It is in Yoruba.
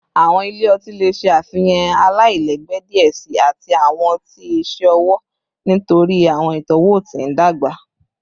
Awọn ile ọti le ṣe afihan alailẹgbẹ diẹ sii ati awọn ọti iṣẹ ọwọ nitori awọn itọwo ti n dagba